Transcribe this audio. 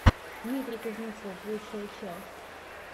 дмитрий кузнецов лучшая часть